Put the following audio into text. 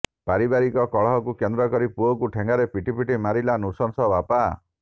ପାରିବାରିକ କଳହକୁ କେନ୍ଦ୍ର କରି ପୁଅକୁ ଠେଙ୍ଗାରେ ପିଟି ପିଟି ମାରିଲା ନୃଶଂସ ବାପା